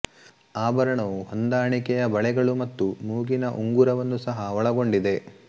ಆಭರಣವು ಹೊಂದಾಣಿಕೆಯ ಬಳೆಗಳು ಮತ್ತು ಮೂಗಿನ ಉಂಗುರವನ್ನು ಸಹ ಒಳಗೊಂಡಿದೆ